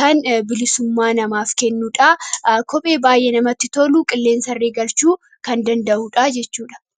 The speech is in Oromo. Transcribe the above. kan bilisummaa namaaf kennudha. Kophee baay'ee namatti tolu kan qilleensallee galchuu danda’udha jechuudha.